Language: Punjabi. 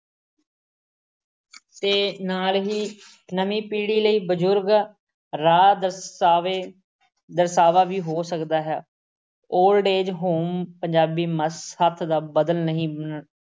ਤੇ ਨਾਲ ਹੀ ਨਵੀਂ ਪੀੜ੍ਹੀ ਲਈ ਬਜ਼ੁਰਗ ਰਾਹ-ਦਰਸਾਵੇ ਦਰਸਾਵਾ ਵੀ ਹੋ ਸਕਦਾ ਹੈ। old age home ਪੰਜਾਬੀ ਮੱਥ ਸੱਥ ਦਾ ਬਦਲ ਨਹੀਂ ਅਮ